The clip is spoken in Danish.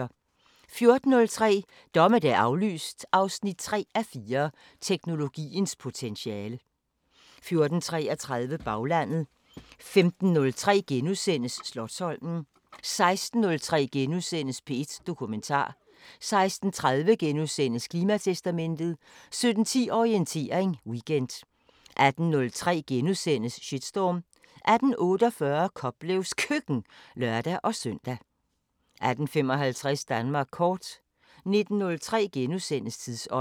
14:03: Dommedag aflyst 3:4 – Teknologiens potentiale 14:33: Baglandet 15:03: Slotsholmen * 16:03: P1 Dokumentar * 16:30: Klimatestamentet * 17:10: Orientering Weekend 18:03: Shitstorm * 18:48: Koplevs Køkken (lør-søn) 18:55: Danmark kort 19:03: Tidsånd *